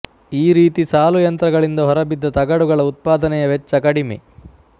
ಈ ರೀತಿ ಸಾಲುಯಂತ್ರಗಳಿಂದ ಹೊರಬಿದ್ದ ತಗಡುಗಳ ಉತ್ಪಾದನೆಯ ವೆಚ್ಚ ಕಡಿಮೆ